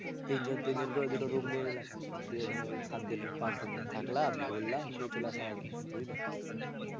তিনজন তিনজন করে দুটো room নিয়ে নিলাম. দিয়ে ধরো সাতদিন হোক পাঁচদিন হোক থাকলাম, ঘুরলাম দিয়ে চলে আসা হবে. বুঝলে?